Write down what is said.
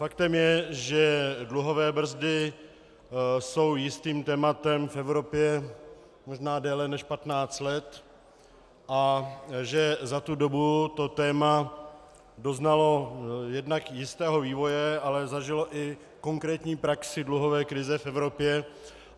Faktem je, že dluhové brzdy jsou jistým tématem v Evropě možná déle než 15 let a že za tu dobu to téma doznalo jednak jistého vývoje, ale zažilo i konkrétní praxi dluhové krize v Evropě.